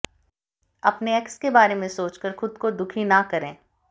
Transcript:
अपने एक्स के बारे में सोचकर खुद को दुखी ना करें